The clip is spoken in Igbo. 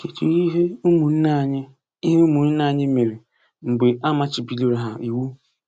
Kedụ ihe ụmụnne anyị ihe ụmụnne anyị mere mgbe a machibidoro ha iwu?